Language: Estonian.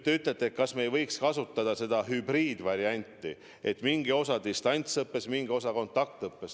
Te küsite, kas me ei võiks kasutada hübriidvarianti, et mingi osa toimub distantsõppes, mingi osa kontaktõppes.